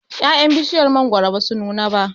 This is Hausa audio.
ya'yan bishiyar mangwaro basu nuna ba